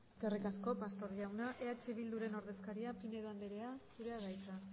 eskerrik asko pastor jauna eh bilduren ordezkaria pinedo andrea zurea da hitza